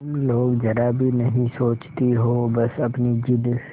तुम लोग जरा भी नहीं सोचती हो बस अपनी जिद